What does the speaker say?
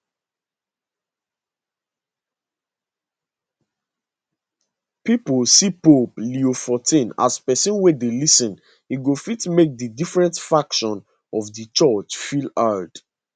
pipo see pope leo xiv as pesin wey dey lis ten e go fit make di different factions of di church feel heard